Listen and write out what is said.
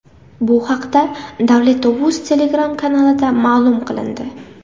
Bu haqda Davletovuz Telegram-kanalida ma’lum qilindi .